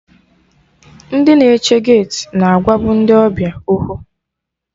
Ndị na-eche geeti na agwa bụ ndị ọbịa okwu